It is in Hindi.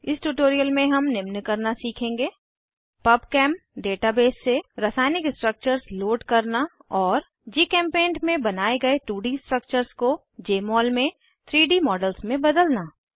इस ट्यूटोरियल में हम निम्न करना सीखेंगे पबचेम डेटाबेस से रासायनिक स्ट्रक्चर्स लोड करना और जीचेम्पेंट में बनाये गए 2डी स्ट्रक्चर्स को जमोल में 3डी मॉडल्स में बदलना